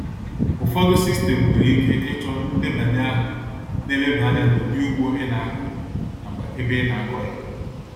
Ufọdu sistem nwere ike ịchọ ndebanye aha na-eleba anya n'ụdi ugbo ị na-akọ nakwa ebe ị na-akọ ya